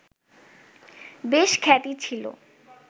বেশ খ্যাতি ছিল